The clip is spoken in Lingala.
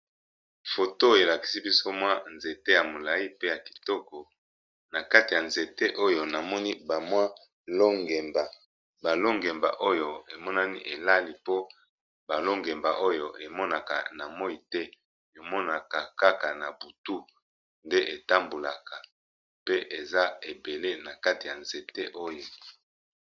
Photo oyo elakisi biso nzete ya molayi pe kitoko makati ya nzete oyo na moni ba longemba ,ononani elali po emonakate na moyi Kaka na butu nde etambolaka pe eza ebele na nzete oyo.